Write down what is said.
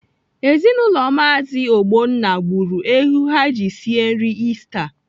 Ezinaụlọ Maazi Ogbonna gburu ewu ha ji sie nri Ista.